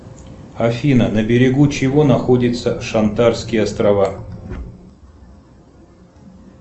афина на берегу чего находятся шантарские острова